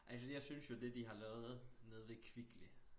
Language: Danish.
Altså jeg synes jo det de har lavet nede ved Kvickly